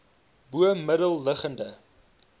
bo middel liggende